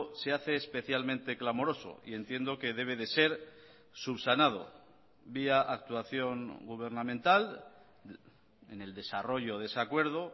se hace especialmente clamoroso y entiendo que debe de ser subsanado vía actuación gubernamental en el desarrollo de ese acuerdo